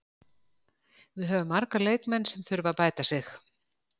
Við höfum marga leikmenn sem þurfa að bæta sig.